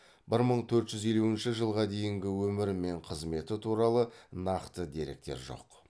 бір мың төрт жүз елуінші жылы дейінгі өмірі мен қызметі туралы нақты деректер жоқ